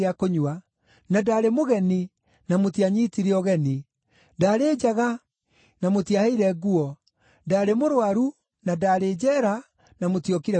na ndaarĩ mũgeni na mũtianyiitire ũgeni, ndaarĩ njaga na mũtiaheire nguo, ndaarĩ mũrũaru na ndaarĩ njeera na mũtiokire kũnyona.’